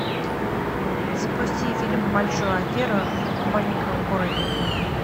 запусти фильм большую аферу в маленьком городе